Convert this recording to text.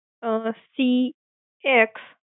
Um. C S